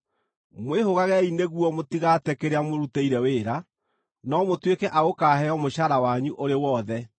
Mwĩhũgagei nĩguo mũtigate kĩrĩa mũrutĩire wĩra, no mũtuĩke a gũkaaheo mũcaara wanyu ũrĩ wothe.